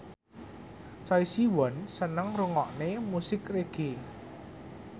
Choi Siwon seneng ngrungokne musik reggae